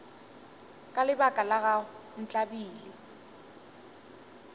ka lebaka la gago ntlabile